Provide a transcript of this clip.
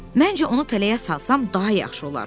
Məncə onu tələyə salsam, daha yaxşı olar.